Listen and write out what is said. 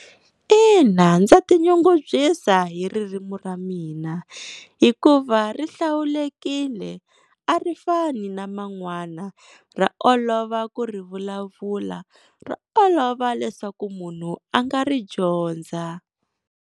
Ina ndza tinyungubyisa hi ririmi ra mina, hikuva rihlawulekile a ri fani na man'wana ra olova ku ri vulavula ra olova leswaku munhu a nga ri dyondza.